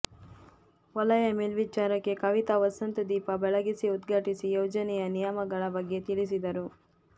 ವಲಯ ಮೆಲ್ವೀಚಾರಕಿ ಕವಿತಾ ವಸಂತ್ ದೀಪ ಬೆಳಗಿಸಿ ಉದ್ಘಾಟಿಸಿ ಯೊಜನೆಯ ನಿಯಮಗಳ ಬಗ್ಗೆ ತಿಳಿಸಿದರು